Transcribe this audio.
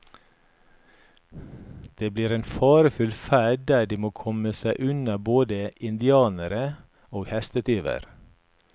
Det blir en farefull ferd der de må komme seg unna både indianere og hestetyver.